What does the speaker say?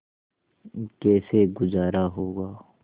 कैसे गुजारा होगा